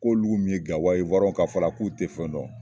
K'olu mu ye gawa ye iwayiɲɛnw ka fɔ la k'olu tɛ fɛn dɔn